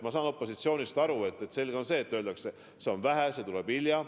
Ma saan opositsioonist aru: loomulikult öeldakse, et seda on vähe ja see tuleb hilja.